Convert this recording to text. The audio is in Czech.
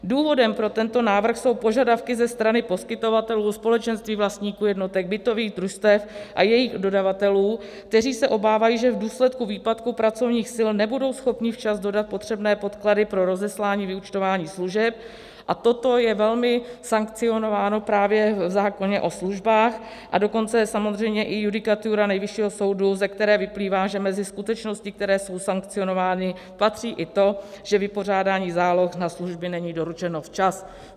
Důvodem pro tento návrh jsou požadavky ze strany poskytovatelů, společenství vlastníků jednotek, bytových družstev a jejich dodavatelů, kteří se obávají, že v důsledku výpadku pracovních sil nebudou schopni včas dodat potřebné podklady pro rozeslání vyúčtování služeb, a toto je velmi sankcionováno právě v zákoně o službách, a dokonce samozřejmě i judikatura Nejvyššího soudu, ze které vyplývá, že mezi skutečnosti, které jsou sankcionovány, patří i to, že vypořádání záloh na služby není doručeno včas.